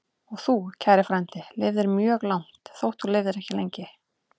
Og þú, kæri frændi, lifðir mjög langt, þótt þú lifðir ekki lengi.